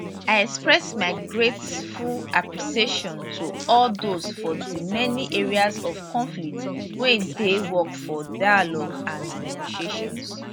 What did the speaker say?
i express my grateful appreciation to all dose for di many areas of conflict wey dey work for dialogue and negotiations